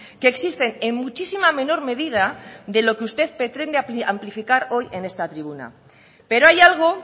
que existen en muchísima menor medida de lo que usted pretende amplificar hoy en esta tribuna pero hay algo